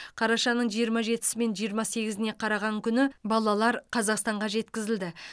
қарашаның жиырма жетісі мен жиырма сегізіне қараған күні балалар қазақстанға жеткізілді